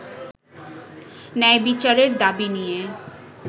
ন্যায় বিচারের দাবি নিয়ে